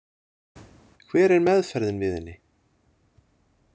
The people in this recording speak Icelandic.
Hver er meðferðin við henni?